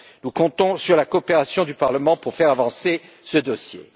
Nous comptons sur la coopération du Parlement pour faire avancer ce dossier.